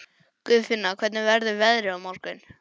Guðfinna, hvernig verður veðrið á morgun?